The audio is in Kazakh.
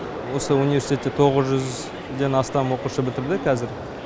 осы университетті тоғыз жүзден астам оқушы бітірді қазір